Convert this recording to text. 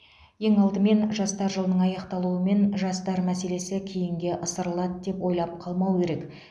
ең алдымен жастар жылының аяқталуымен жастар мәселесі кейінге ысырылады деп ойлап қалмау керек